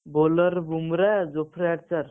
bowler Bumrah